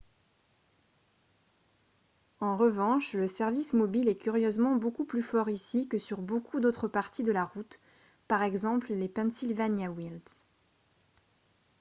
en revanche le service mobile est curieusement beaucoup plus fort ici que sur beaucoup d'autres parties de la route par exemple les pennsylvania wilds